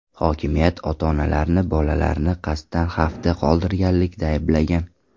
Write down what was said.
Hokimiyat ota-onalarni bolalarni qasddan xavfda qoldirganlikda ayblagan.